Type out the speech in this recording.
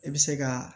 I bɛ se ka